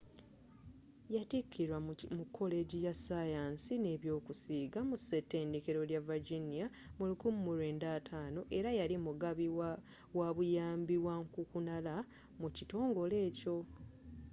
yattikirwa mu kolegi ya sayansi nebyokusiiga mu ssetendekero lya virginia mu 1950 era yali mugabi wabuyambi wankukunala mu kitongole ekyo